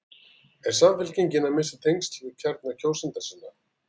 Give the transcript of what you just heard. Er Samfylkingin að missa tengsl við kjarna kjósenda sinna?